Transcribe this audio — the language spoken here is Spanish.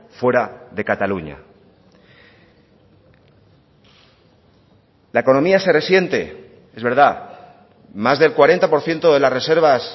fuera de cataluña la economía se resiente es verdad más del cuarenta por ciento de las reservas